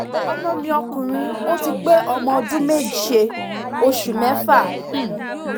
ọmọ mi ọkùnrin ti pé ọmọ ọdún méje oṣù mẹ́fà um